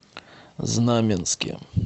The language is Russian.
знаменске